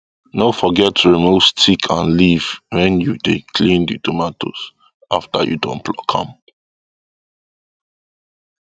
no forget to remove stick and leaf when you dey clean the tomatoes after you don pluck am